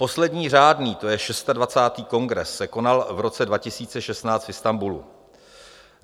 Poslední řádný, to je 26. kongres se konal v roce 2016 v Istanbulu.